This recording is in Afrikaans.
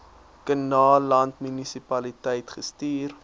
kannaland munisipaliteit gestuur